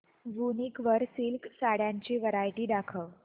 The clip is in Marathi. वूनिक वर सिल्क साड्यांची वरायटी दाखव